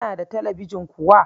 Kana da talabijin kuwa?